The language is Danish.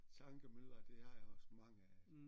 Tankemylder det har jeg også mange af